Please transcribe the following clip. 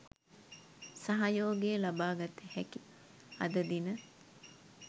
සහයෝගය ලබාගත හැකි අද දින